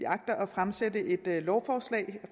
agter at fremsætte et lovforslag